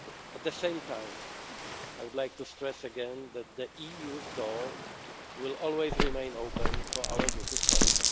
State. At the same time, I would like to stress again that the EU's door will always remain open for our British